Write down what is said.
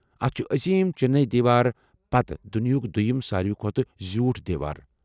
اتھ چُھ عظیم چینی دیوار پتہٕ چھ دُنیاہُک دویم ساروے کھوتہٕ زیوٗٹھ دیوار ۔